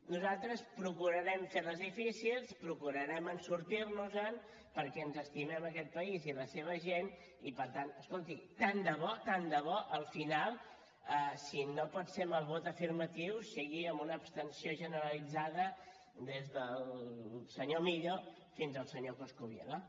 nosaltres procurarem fer les difícils procurarem sortir nos en perquè ens estimem aquest país i la seva gent i per tant escolti tant de bo tant de bo al final si no pot ser amb el vot afirmatiu sigui amb una abstenció generalitzada des del senyor millo fins al senyor coscubiela